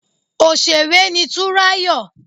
Òsèré ni Túnráyọ̀